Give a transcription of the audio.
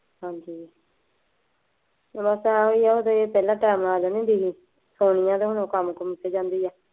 ਹਾਂਜੀ, ਬੱਸ ਆਏ ਈ ਆ ਸੋਨੀਆ ਤਾਂ ਹੁਣ ਕੰਮ ਕੁਮ ਤੇ ਜਾਂਦੀ ਏ।